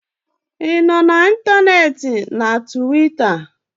ị nọ na ntanetị na Tuweeta?